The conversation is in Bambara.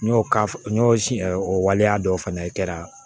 N y'o ka n siɲɛ o waleya dɔ fana kɛra